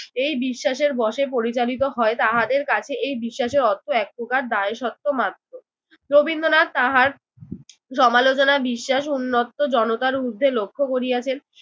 এই বিশ্বাসের বসে পরিচালিত হয় তাহাদের কাছে এই বিশ্বাসের অর্থ এক প্রকার দায়সত্ব মাত্র। রবীন্দ্রনাথ তাহার সমালোচনা বিশ্বাস উন্মুক্ত জনতার ঊর্ধ্বে লক্ষ্য করিয়াছেন।